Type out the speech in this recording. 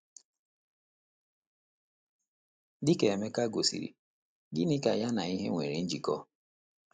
Dị ka Emeka gosiri, gịnị ka ya na ìhè nwere njikọ?